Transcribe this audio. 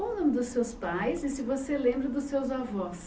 Qual o nome dos seus pais e se você lembra dos seus avós?